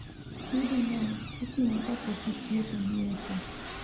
Chudo no itimo ka pok itieko nyiepo